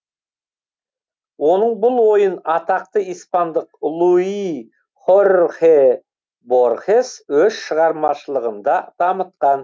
оның бұл ойын атақты испандық луи хорхе борхес өз шығармашылығында дамытқан